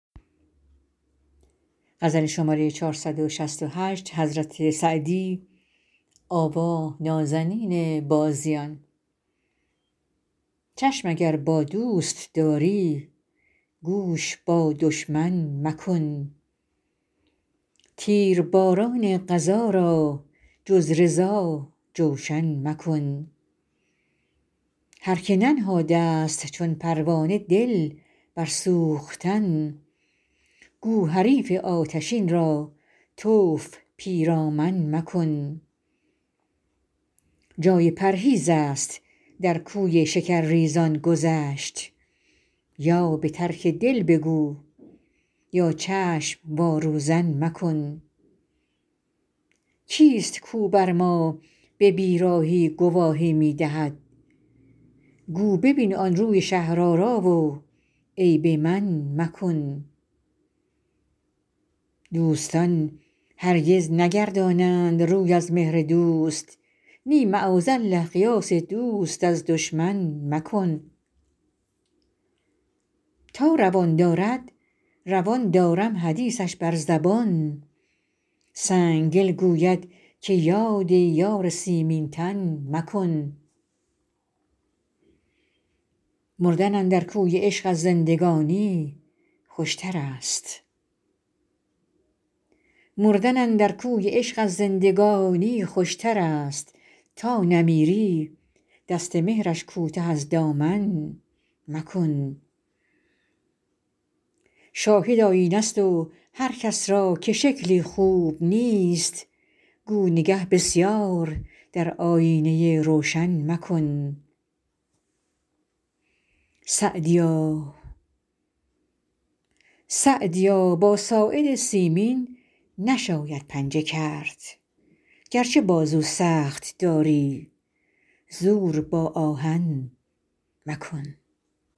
چشم اگر با دوست داری گوش با دشمن مکن تیرباران قضا را جز رضا جوشن مکن هر که ننهاده ست چون پروانه دل بر سوختن گو حریف آتشین را طوف پیرامن مکن جای پرهیز است در کوی شکرریزان گذشت یا به ترک دل بگو یا چشم وا روزن مکن کیست کاو بر ما به بیراهی گواهی می دهد گو ببین آن روی شهرآرا و عیب من مکن دوستان هرگز نگردانند روی از مهر دوست نی معاذالله قیاس دوست از دشمن مکن تا روان دارد روان دارم حدیثش بر زبان سنگدل گوید که یاد یار سیمین تن مکن مردن اندر کوی عشق از زندگانی خوشتر است تا نمیری دست مهرش کوته از دامن مکن شاهد آیینه ست و هر کس را که شکلی خوب نیست گو نگه بسیار در آیینه روشن مکن سعدیا با ساعد سیمین نشاید پنجه کرد گرچه بازو سخت داری زور با آهن مکن